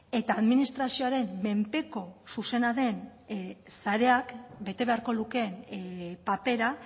eta administrazioaren menpeko zuzena den sareak bete beharko lukeen papera